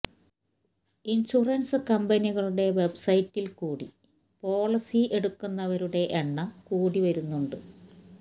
insurance കമ്പനികളുടെ വെബ്സൈറ്റില് കൂടി പോളിസി എടുക്കുന്നവരുടെ എണ്ണം കൂടി വരുന്നുണ്ട്